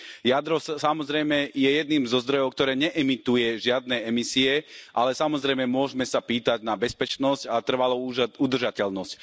Jadro, samozrejme, je jedným zo zdrojov, ktoré neemituje žiadne emisie, ale samozrejme môžeme sa pýtať na bezpečnosť a trvalú udržateľnosť.